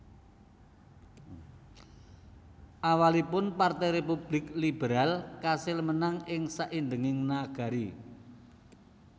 Awalipun Partai Républik Liberal kasil menang ing saindhenging nagari